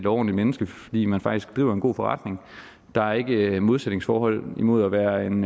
ordentligt menneske fordi man faktisk driver en god forretning der er ikke et modsætningsforhold mellem at være en